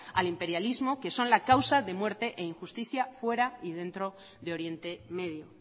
al imperialismo que son la causa de muerte e injusticia fuera y dentro de oriente medio